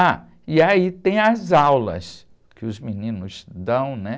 Ah, e aí tem as aulas que os meninos dão, né?